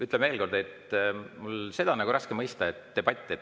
Ütlen veel kord, et mul on nagu raske mõista.